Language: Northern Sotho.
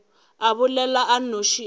a bolela a nnoši a